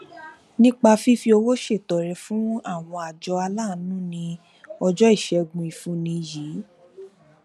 nípa fífi owó ṣètọrẹ fún àwọn àjọ aláàánú ní ọjọ iṣẹgun ìfúnni yìí